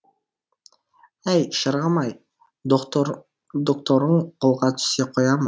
әй шырағым ай докторың қолға түсе қоя ма